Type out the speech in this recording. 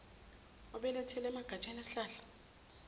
obelethele emagatsheni esihlahla